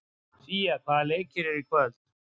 Sía, hvaða leikir eru í kvöld?